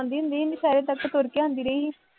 ਆਉਦੀ ਹੁੰਦੀ ਸੀ, ਸਾਰੇ ਪਾਸੇ ਤੁਰ ਕੇ ਆਉਂਦੀ ਰਹੀ ਸੀ